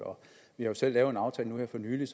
vi har jo selv lavet en aftale nu her for nylig